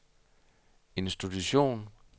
institution